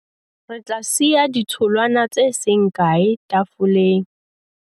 re tla siya ditholwana tse seng kae tafoleng